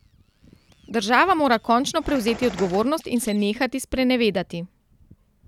Država mora končno prevzeti odgovornost in se nehati sprenevedati.